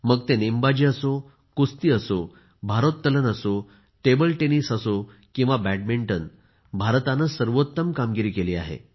मग ते नेमबाजी असो कुस्ती असो भारोत्तलन असो टेबल टेनिस असो किंवा बॅडमिंटन भारताने सर्वोत्तम कामगिरी केली आहे